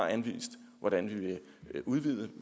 anvist hvordan vi vil udvide